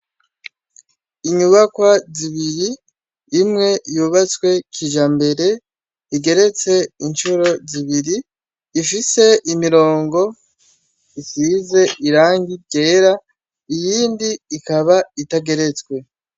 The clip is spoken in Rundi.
Inyubakwa zibiri, imwe yubatswe kijambere, igeretse incuro zibiri, ifise imirongo isize irangi ryera, iyindi ikaba itageretswe.